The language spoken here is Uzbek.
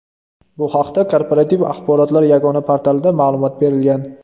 Bu haqda Korporativ axborotlar yagona portalida ma’lumot berilgan .